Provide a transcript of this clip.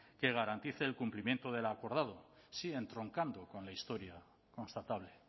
que garantice el cumplimiento de lo acordado sigue entroncando con la historia constatable